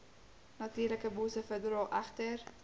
natuurlikebosse verdra egter